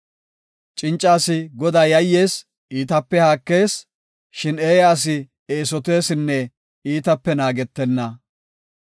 Cinca asi Godaa yayyees; iitape haakees; shin eeya asi eesotesinne iitape naagetenna.